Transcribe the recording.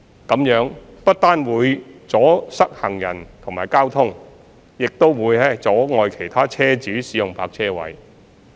這樣不但會阻塞行人及交通，亦會阻礙其他車主使用泊車位。